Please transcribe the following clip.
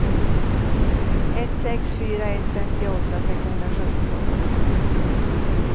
ett sex fyra ett femtioåtta sexhundrasjutton